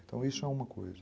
Então isso é uma coisa.